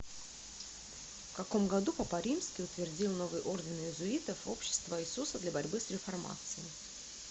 в каком году папа римский утвердил новый орден иезуитов общество иисуса для борьбы с реформацией